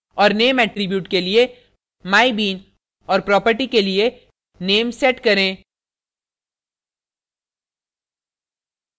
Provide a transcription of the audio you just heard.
और name attribute के लिए mybeanऔर property के लिए name set करें